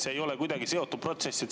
See ei ole kuidagi seotud protsess.